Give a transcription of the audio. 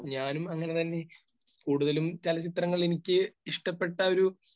ഞാനും അങ്ങനെ തന്നെ. കൂടുതലും ചലച്ചിത്രങ്ങളിൽ എനിക്ക് ഇഷ്ടപ്പെട്ട ഒരു